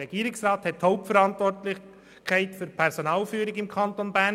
Der Regierungsrat trägt die Hauptverantwortung für die Personalführung im Kanton Bern.